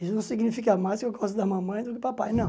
Isso não significa mais que eu gosto da mamãe do que do papai, não.